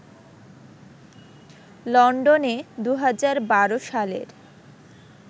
লন্ডনে ২০১২ সালের